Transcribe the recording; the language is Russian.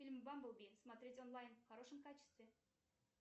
фильм бамблби смотреть онлайн в хорошем качестве